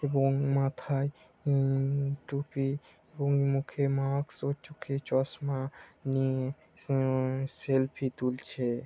এবং মাথায় উ-ম- টুপি এবং মুখে মাস্ক ও চোখে চশমা নিয়ে উ-ম-স-ম সেলফি তুলছে।